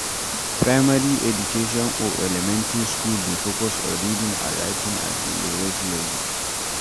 Primary education or elementry school dey focus on reading and writing at the lowest level